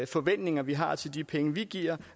forventninger vi har til de penge vi giver